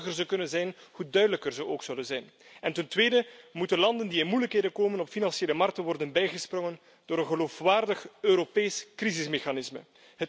Hoe eenvoudiger ze kunnen zijn, hoe duidelijker ze ook zullen zijn. En ten tweede moeten landen die in moeilijkheden komen, op financiële markten worden bijgesprongen door een geloofwaardig Europees crisismechanisme.